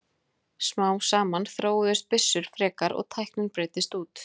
Smám saman þróuðust byssur frekar og tæknin breiddist út.